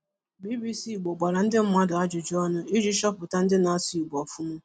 BBC Ìgbò gbàrà ndị mmadụ ajụjụ ònụ iji chọpụtà ndị na-asụ Ìgbò ọ̀fụ̀ma.